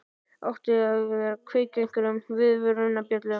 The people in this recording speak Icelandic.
Átti það ekki að kveikja á einhverjum viðvörunarbjöllum?